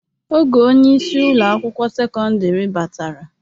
Oge onyeisi Ụlọ akwụkwọ sekọndrị batara.